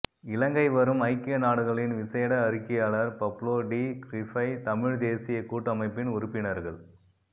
இலங்கை வரும் ஐக்கிய நாடுகளின் விசேட அறிக்கையாளர் பப்ளோ டி க்ரீஃபை தமிழ் தேசிய கூட்டமைப்பின் உறுப்பினர்கள்